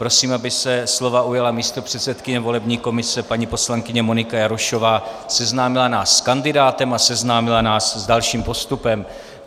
Prosím, aby se slova ujala místopředsedkyně volební komise paní poslankyně Monika Jarošová, seznámila nás s kandidátem a seznámila nás s dalším postupem.